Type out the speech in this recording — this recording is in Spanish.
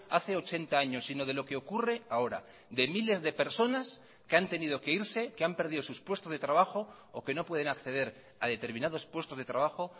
hace ochenta años sino de lo que ocurre ahora de miles de personas que han tenido que irse que han perdido sus puestos de trabajo o que no pueden acceder a determinados puestos de trabajo